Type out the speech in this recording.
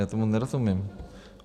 Já tomu nerozumím.